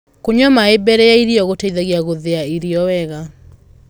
kũnyua maĩ mbele ya irio gũteithagia guthia irio wega